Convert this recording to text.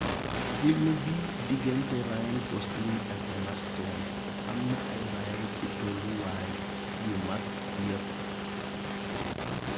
film bi digganté ryan gosling ak emma stone amna ay raaya ci tollu waay yu mag yepp